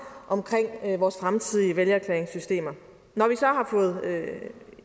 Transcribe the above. for vores fremtidige vælgererklæringssystemer når vi så har fået